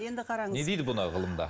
енді қараңыз не дейді бұны ғылымда